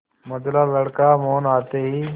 मंझला लड़का मोहन आते ही